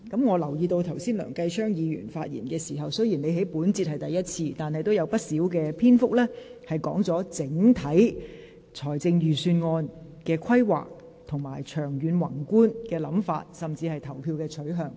我留意到剛才梁繼昌議員的發言，雖然他在本環節中是第一次發言，但仍有不少篇幅論及財政預算的整體規劃和長遠宏觀的想法，甚至是投票的取向。